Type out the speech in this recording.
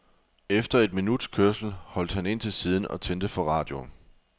Efter et minuts kørsel holdt han ind til siden og tændte for radioen.